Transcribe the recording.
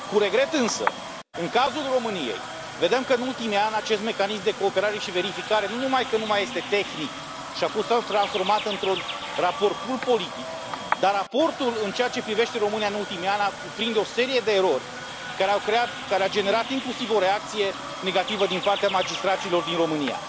Cu regret, însă, în cazul României, vedem că, în ultimii ani, acest Mecanism de Cooperare și Verificare nu numai că nu mai este tehnic și a fost transformat într un raport pur politic, dar raportul în ceea ce privește România în ultimii ani cuprinde o serie de erori care au generat inclusiv o reacție negativă din partea magistraților din România.